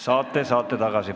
Saate, saate tagasi.